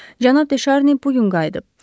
Cənab De Şarnini bu gün qayıdıb.